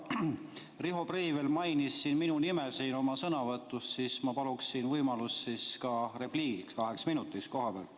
Kuna Riho Breivel mainis minu nime oma sõnavõtus, siis ma paluksin võimalust kaheminutiliseks repliigiks kohapealt.